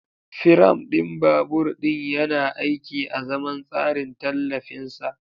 Firam ɗin babur ɗin yana aiki azaman tsarin tallafin sa.